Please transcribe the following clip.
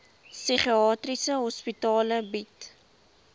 psigiatriese hospitale bied